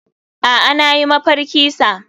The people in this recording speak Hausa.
Aa nayi mafarki sa.